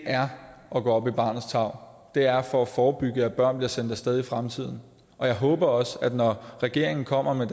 er at gå op i barnets tarv det er for at forebygge at børn bliver sendt af sted i fremtiden og jeg håber også når regeringen kommer med